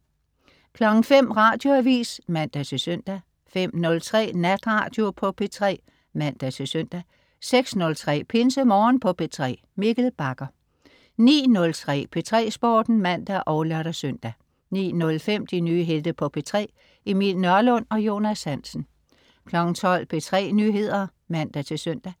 05.00 Radioavis (man-søn) 05.03 Natradio på P3 (man-søn) 06.03 PinseMorgen på P3. Mikkel Bagger 09.03 P3 Sporten (man og lør-søn) 09.05 De nye helte på P3. Emil Nørlund og Jonas Hansen 12.00 P3 Nyheder (man-søn)